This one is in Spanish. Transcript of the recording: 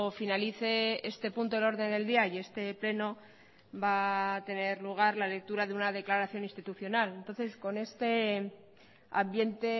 finalice este punto del orden del día y este pleno va tener lugar la lectura de una declaración institucional entonces con este ambiente